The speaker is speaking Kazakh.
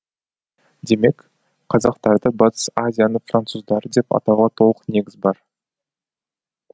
демек қазақтарды батыс азияның француздары деп атауға толық негіз бар